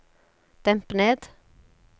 demp ned